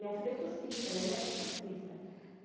Minha filha é surfista, minha neta é surfista.